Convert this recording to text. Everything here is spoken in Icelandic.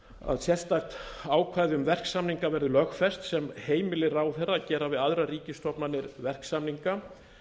að sérstakt ákvæði um verksamninga verði lögfest sem heimili ráðherra að gera við ríkisstofnanir verksamninga